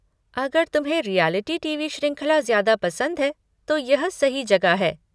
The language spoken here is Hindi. अगर तुम्हें रिऐलिटी टी.वी. श्रृंखला ज्यादा पसंद हैं, तो यह सही जगह है।